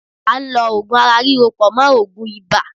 À ń lọ Ògùn ara ríro pọ̀ mọ́ Ògùn ibà.